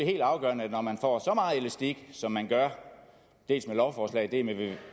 helt afgørende når man får så meget elastik som man gør dels med lovforslaget